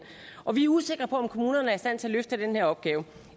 og vi er usikre på om kommunerne er i stand til at løfte den her opgave